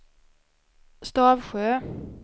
Stavsjö